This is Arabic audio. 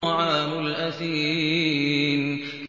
طَعَامُ الْأَثِيمِ